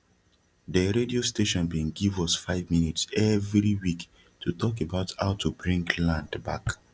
de radio station bin give us five minutes everi week to talk about how to bring land back